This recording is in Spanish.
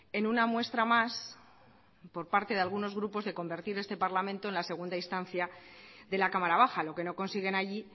en una muestra más por parte de algunos grupos de convertir en este parlamento en la segunda instancia de la cámara baja lo que no consiguen allí